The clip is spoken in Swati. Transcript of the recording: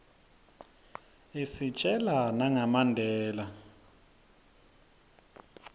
isitjela nanga mandela